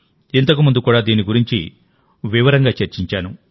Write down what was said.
ఇంతకుముందు కూడా దీని గురించి వివరంగా చర్చించాను